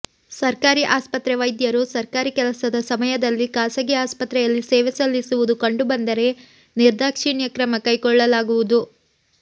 ಸರ್ಕಾರಿ ಆಸ್ಪತ್ರೆ ವೈದ್ಯರು ಸರ್ಕಾರಿ ಕೆಲಸದ ಸಮಯದಲ್ಲಿ ಖಾಸಗಿ ಆಸ್ಪತ್ರೆಯಲ್ಲಿ ಸೇವೆ ಸಲ್ಲಿಸುವುದು ಕಂಡುಬಂದರೆ ನಿರ್ದಾಕ್ಷಿಣ್ಯ ಕ್ರಮ ಕೈಗೊಳ್ಳಲಾಗುವುದು